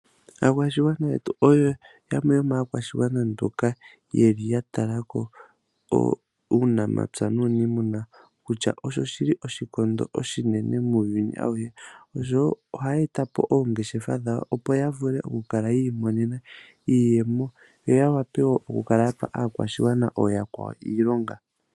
Aakwashigwana yetu oyo yamwe yomaakwashigwana mboka yeli yatalako uunamapya nuunimuna kutya osho oshili oshikondo oshinene muuyuni auhe. Osho wo ohaya etapo oongeshefa dhawo opo yavule okukala yiimonena iiyemo, yo yawape wo okukala yapa aakwashigwana ooyakwawo iilonga.